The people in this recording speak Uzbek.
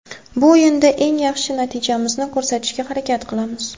Bu o‘yinda eng yaxshi natijamizni ko‘rsatishga harakat qilamiz.